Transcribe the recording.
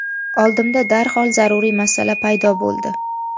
Oldimda darhol zaruriy masala paydo bo‘ldi.